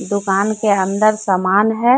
दुकान के अंदर सामान है।